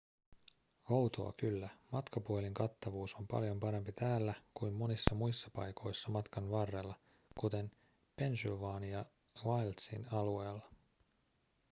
outoa kyllä matkapuhelinkattavuus on paljon parempi täällä kuin monissa muissa paikoissa matkan varrella kuten pennsylvania wildsin alueella